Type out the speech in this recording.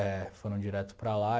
É, foram direto para lá.